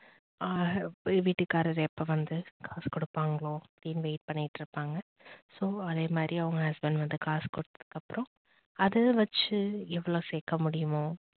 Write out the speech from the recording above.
வீட்டுக்காரர் எப்ப வந்து காசு கொடுப்பாங்களோ அப்படின்னு வெயிட் பண்ணிட்டு இருப்பாங்க so அதே மாதிரி அவங்க husband வந்து காசு கொடுத்ததுக்கு அப்புறம் அத வச்சு எவ்வளவு சேக்க முடியுமோ